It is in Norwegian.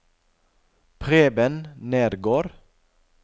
Preben Nergård